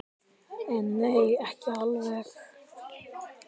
En nei, ekki alveg.